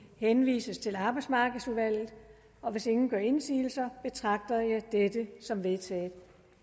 henvises til arbejdsmarkedsudvalget hvis ingen gør indsigelse betragter jeg dette som vedtaget